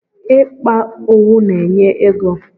Ịkpa owu na-enye ego.